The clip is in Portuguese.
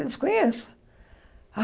Eu disse, conheço.